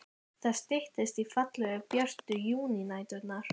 Það styttist í fallegu, björtu júnínæturnar.